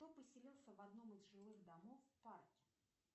кто поселился в одном из жилых домов в парке